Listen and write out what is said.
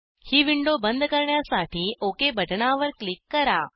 ही window बंद करण्यासाठी okay बटणावर क्लिक करा